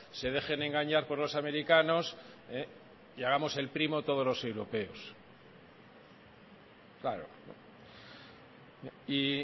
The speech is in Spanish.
se dejen engañar por los americanos y hagamos el primo todos los europeos claro y